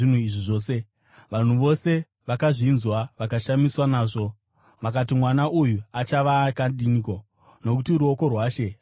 Vanhu vose vakazvinzwa vakashamiswa nazvo, vakati, “Mwana uyu achava akadiniko?” Nokuti ruoko rwaShe rwaiva naye.